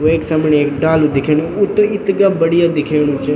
वेक समणी एक डालू दिख्णु वू त इथगा बढ़िया दिखेणु च।